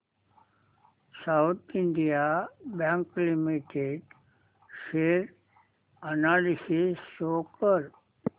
south Indian bank limited share analysis show कर